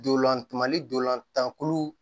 Dolantumali ntolan tan kulu